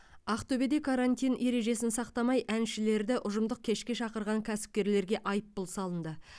ақтөбеде карантин ережесін сақтамай әншілерді ұжымдық кешке шақырған кәсіпкерлерге айыппұл салынды